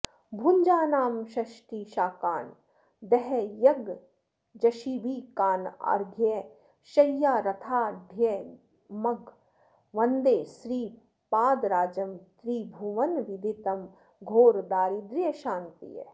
भुञ्जानं षष्टिशाकान् दहयगजशिबिकानर्घ्यशय्यारथाढ्यम्ग् वन्दे श्रीपादराजं त्रि भुवनविदितं घोरदारिद्र्यशान्त्यै